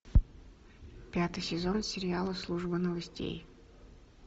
пятый сезон сериала служба новостей